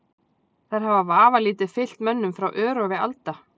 Þær hafa vafalítið fylgt mönnum frá örófi alda.